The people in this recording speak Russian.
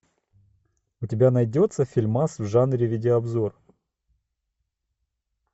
у тебя найдется фильмас в жанре видеообзор